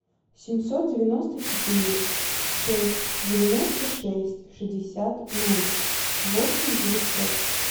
семьсот девяносто четыре шесть девяносто шесть шестьдесят ноль восемь девятьсот